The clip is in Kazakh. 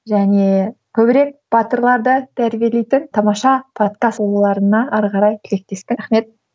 және көбірек батырларды тәрбиелейтін тамаша подкаст болуларына әрі қарай тілектеспін рахмет